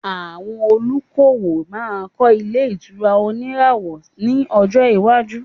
Àwọn olùdókòwò máa kọ́ ilẹ̀ ìtura òníràwọ̀ ní ọjọ iwájú